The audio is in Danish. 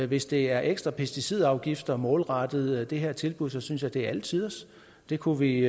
hvis det er ekstra pesticidafgift og målrettet det her tilbud så synes jeg det er alle tiders det kunne vi